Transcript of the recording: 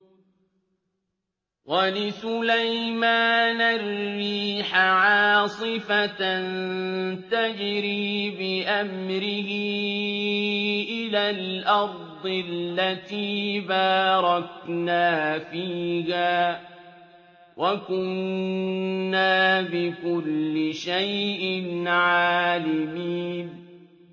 وَلِسُلَيْمَانَ الرِّيحَ عَاصِفَةً تَجْرِي بِأَمْرِهِ إِلَى الْأَرْضِ الَّتِي بَارَكْنَا فِيهَا ۚ وَكُنَّا بِكُلِّ شَيْءٍ عَالِمِينَ